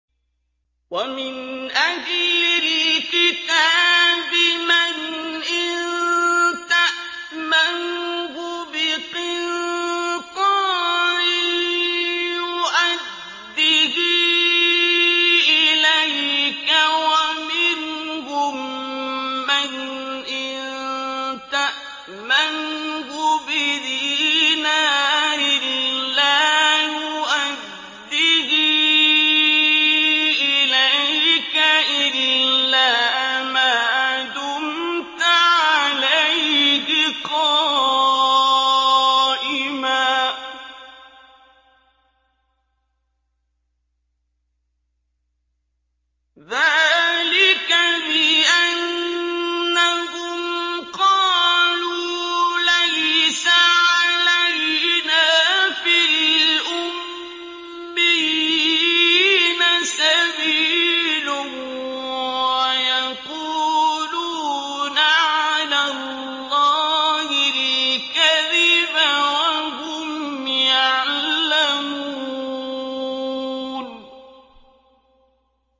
۞ وَمِنْ أَهْلِ الْكِتَابِ مَنْ إِن تَأْمَنْهُ بِقِنطَارٍ يُؤَدِّهِ إِلَيْكَ وَمِنْهُم مَّنْ إِن تَأْمَنْهُ بِدِينَارٍ لَّا يُؤَدِّهِ إِلَيْكَ إِلَّا مَا دُمْتَ عَلَيْهِ قَائِمًا ۗ ذَٰلِكَ بِأَنَّهُمْ قَالُوا لَيْسَ عَلَيْنَا فِي الْأُمِّيِّينَ سَبِيلٌ وَيَقُولُونَ عَلَى اللَّهِ الْكَذِبَ وَهُمْ يَعْلَمُونَ